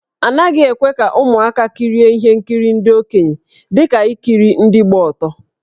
A naghị ekwe ka ụmụaka kirie ihe nkiri ndị okenye dị ka ikiri ndị gba ọtọ.